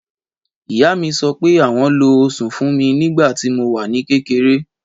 Ìyá mi sọ pé àwọn lo osùn fúnmi ní ìgbà tí mo wà ní kékeré.